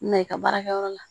Na i ka baarakɛyɔrɔ la